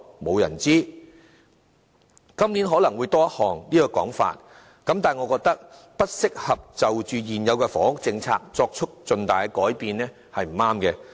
這種說法今年可能會更經常出現，但我認為不適宜就現有的房屋政策作出重大改變的說法是不正確的。